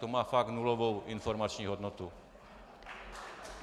To má fakt nulovou informační hodnotu.